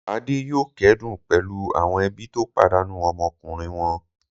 Adé yóò kẹ́dùn pẹ̀lú àwọn ẹbí tó pàdánù ọmọkùnrin wọn.